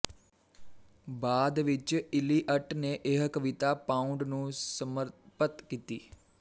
ਬਾਅਦ ਵਿੱਚ ਈਲੀਅਟ ਨੇ ਇਹ ਕਵਿਤਾ ਪਾਉਂਡ ਨੂੰ ਸਮਰਪਤ ਕੀਤੀ